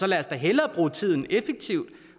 lad os da hellere bruge tiden effektivt